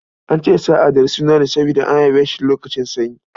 An ce sa a Ɗari suna ne don an haife shi lokacin sanyi.